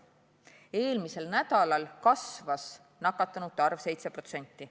Eelmisel nädalal kasvas nakatunute arv 7%.